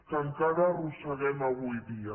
que encara arrosseguem avui dia